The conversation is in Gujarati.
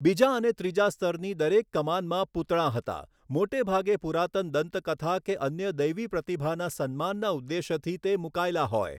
બીજા અને ત્રીજા સ્તરની દરેક કમાનમાં પૂતળાં હતાં મોટે ભાગે પુરાતન દંતકથા કે અન્ય દૈવી પ્રતિભાના સન્માનના ઉદ્દેશ્યથી તે મૂકાયેલા હોય.